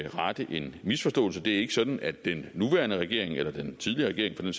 rette en misforståelse det er ikke sådan at den nuværende regering eller den tidligere regering